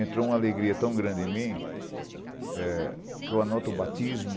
Entrou uma alegria tão grande em mim eh, que eu ehm anoto o batismo